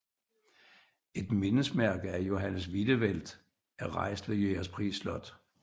Et mindesmærke af Johannes Wiedewelt er rejst ved Jægerspris Slot